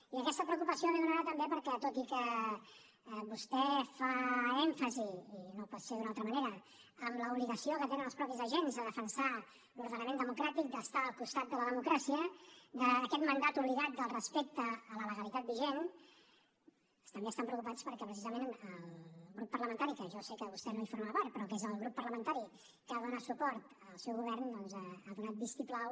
i aquesta preocupació ve donada també perquè tot i que vostè fa èmfasi i no pot ser d’una altra manera en l’obligació que tenen els mateixos agents de defensar l’ordenament democràtic d’estar al costat de la democràcia d’aquest mandat obligat del respecte a la legalitat vigent també estan preocupats perquè precisament el grup parlamentari que jo sé que vostè no en forma part però que és el grup parlamentari que dóna suport al seu govern doncs ha donat vistiplau